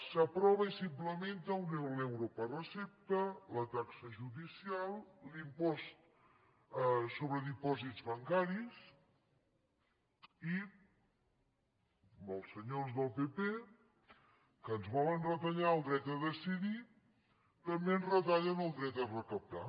s’aprova i s’implementa l’euro per recepta la taxa judicial l’impost sobre dipòsits bancaris i els senyors del pp que ens volen retallar el dret a decidir també ens retallen el dret a recaptar